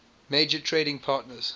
major trading partners